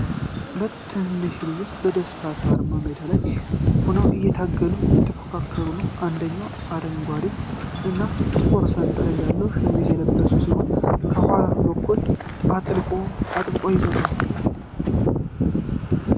ሁለት ትንንሽ ልጆች በደስታ ሳርማ ሜዳ ላይ ሆነው እየታገሉና እየተፎካከሩ ነው። አንደኛው አረንጓዴ እና ጥቁር ሰንጠረዥ ያለው ሸሚዝ የለበሰ ሲሆን፣ ከኋላ በኩል አጥብቆ ይዞታል ።